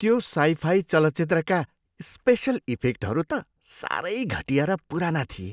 त्यो साइफाई चलचित्रका स्पेसल इफेक्टहरू त सारै घटिया र पुराना थिए।